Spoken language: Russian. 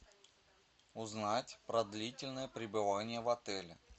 узнать про длительное пребывание в отеле